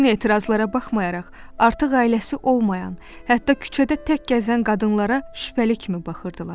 Bütün etirazlara baxmayaraq, artıq ailəsi olmayan, hətta küçədə tək gəzən qadınlara şübhəli kimi baxırdılar.